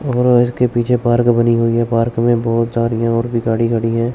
और इसके पीछे पार्क बनी हुई है पार्क में बहोत सारीयां और भी गाड़ी खड़ी है।